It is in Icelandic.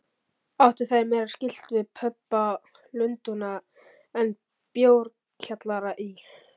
Áttu þær meira skylt við pöbba Lundúna en bjórkjallara í